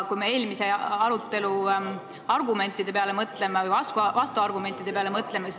Mõtleme eelmise arutelu argumentide või vastuargumentide peale.